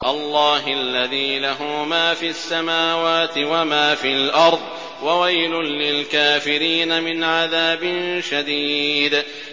اللَّهِ الَّذِي لَهُ مَا فِي السَّمَاوَاتِ وَمَا فِي الْأَرْضِ ۗ وَوَيْلٌ لِّلْكَافِرِينَ مِنْ عَذَابٍ شَدِيدٍ